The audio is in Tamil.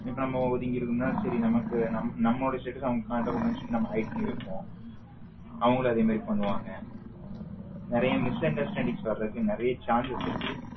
இப்போ நம்ம ஒதிங்கி இருக்கோன சேரி நம்மக்கு நம்மளோட status ஆவன்களுக்கு காட்டகுடதுன்னு சொல்லி நம்ம hide பண்ணி வைப்போம் அவங்களும் அதே மாரி பண்ணுவாங்க நறிய misunderstanding வரத்துக்கு நறிய chances இருக்கு